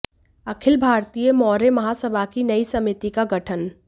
अखिल भारतीय मौर्य महासभा की नई समिति का गठन